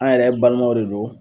An yɛrɛ balimaw de don